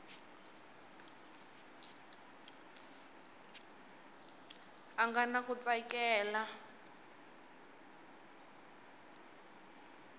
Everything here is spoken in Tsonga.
a nga na ku tsakela